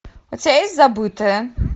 у тебя есть забытое